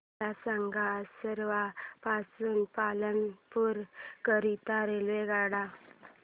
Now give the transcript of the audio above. मला सांगा असरवा पासून पालनपुर करीता रेल्वेगाड्या